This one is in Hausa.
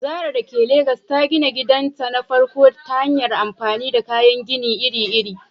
Zarah dake Legas ta gina gidanta na farko ta hanyar amfani da kayan gini iri-iri.